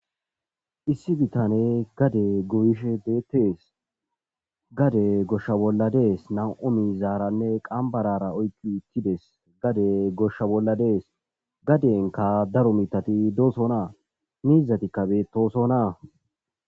issi bitane gade guyishe beettees gade goshsha bolla dees nam7o mizaaranne qambarara oykki uttides gade goshsha bolla dees gadenka daro mitati doosonaa miizatikka beettoosonaa